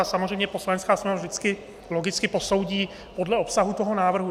A samozřejmě Poslanecká sněmovna vždycky logicky posoudí podle obsahu toho návrhu.